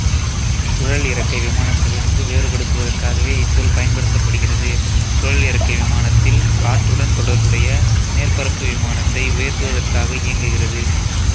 சுழல் இறக்கை விமானத்திலிருந்து வேறுபடுத்துவதற்காகவே இச்சொல் பயன்படுத்தப்படுகிறது சுழல் இறக்கை விமானத்தில் காற்றுடன் தொடர்புடைய மேற்பரப்பு விமானத்தை உயர்த்துவதற்காக இயங்குகிறது